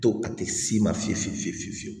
To a tɛ s'i ma fiye fiye fiye fiye fiye fiyewu